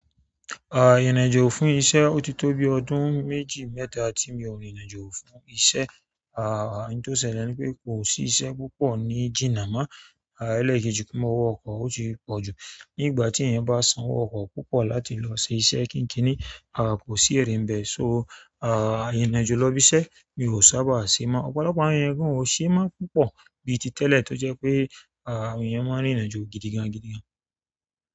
A ìrìnàjò fún iṣẹ́ o ti to bi ọdún méjì mẹ́ta ti mi o rìnrìnàjò fún iṣẹ́. Ah n tó ṣẹlẹ̀ ni wípé kò sí iṣẹ́ púpọ̀ ní jína mọ́. Ah ẹlẹkejì kí mo wọ ọkọ̀ ó ti pọ̀ jù. Nígbà tí eeyan bá sanwó ọkọ̀ púpọ̀ láti lọ ṣe iṣẹ́ kínkíni, ah kò sí ere nbẹ́ẹ̀. So ah ìrìnàjò lọ́ ibí iṣẹ́ mi ò sábà ṣe mọ́. Ọ̀pọ̀lọpọ̀ àwọn eeyan gán o ṣe máa ń púpọ̀ bí i ti tẹ́lẹ̀ tó jẹ́ pé ah àwọn eeyan máa ń rìnrìnàjò gidigan gidigan.